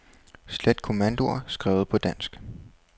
Slet kommandoer skrevet på dansk.